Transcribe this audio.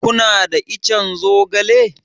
Kuna da ican zogale?